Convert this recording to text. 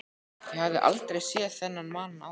Ég hafði aldrei séð þennan mann áður.